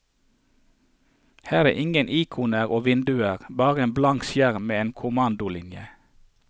Her er ingen ikoner og vinduer, bare en blank skjerm med en kommandolinje.